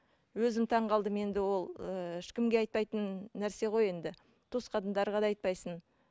өзім таңғалдым енді ол ыыы ешкімге айтпайтын нәрсе ғой енді туысқандарға да айтпайсың